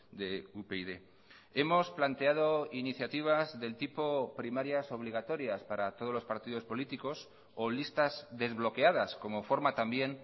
de upyd hemos planteado iniciativas del tipo primarias obligatorias para todos los partidos políticos o listas desbloqueadas como forma también